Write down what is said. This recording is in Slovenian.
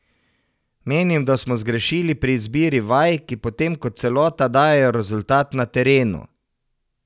Menim, da smo zgrešili pri izbiri vaj, ki potem kot celota dajejo rezultat na terenu.